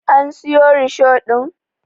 An siyo risho ɗin?